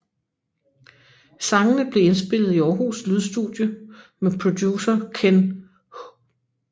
Sangene blev indspillet i Aarhus Lydstudie med producer Kenn H